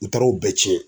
N taar'o bɛɛ cɛn